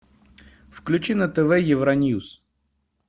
включи на тв евроньюс